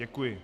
Děkuji.